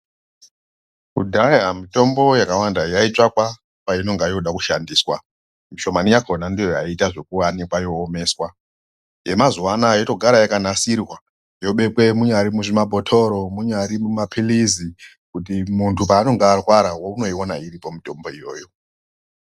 Kudhaya mitombo yakawanda yaitsvakwa patinonga yooda kushandiswa. Shomani yakhona ndiyo yaiita zvokuanikwa yoomeswa. Yemazuwa anaya yotogara yakanasirwa, yobekwe munyari muzvimabhothoro, munyari mumaphilizi, kuti muntu paanonga arwara unoiona iripo mitombo iyoyo .